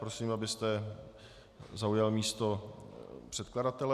Prosím, abyste zaujal místo předkladatele.